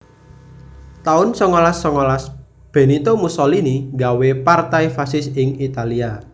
taun songolas songolas Benito Mussolini nggawé Partai Fasis ing Italia